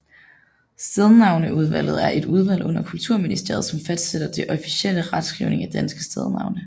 Stednavneudvalget er et udvalg under Kulturministeriet som fastsætter den officielle retskrivning af danske stednavne